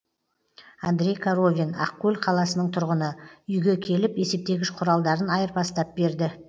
андреи коровин ақкөл қаласының тұрғыны үйге келіп есептегіш құралдарын айырбастап берді